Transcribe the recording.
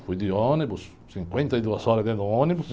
Fui de ônibus, cinquenta e duas horas dentro do ônibus.